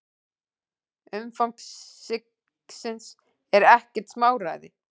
Umfang sigsins er ekkert smáræði.